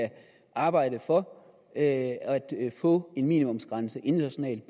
arbejde for at få en minimumsgrænse internationalt